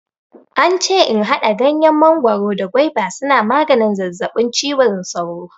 Ance in haɗa ganyen mangoro da gwaiba suna maganin zazzaɓin cizon sauro.